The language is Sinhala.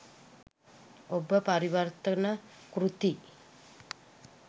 ඔබ පරිවර්තන කෘති